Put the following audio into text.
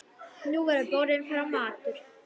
Nú verður borinn fram matur.